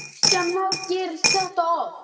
Kristján Már: Gerist þetta oft?